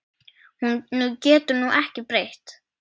Honum getur þú ekki breytt.